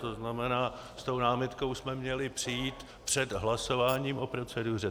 To znamená, s tou námitkou jsme měli přijít před hlasováním o proceduře.